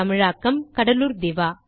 தமிழாக்கம் கடலுர் திவா